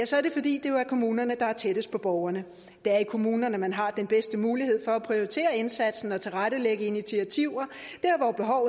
så er det fordi det jo er kommunerne der er tættest på borgerne det er i kommunerne man har den bedste mulighed for at prioritere indsatsen og tilrettelægge initiativer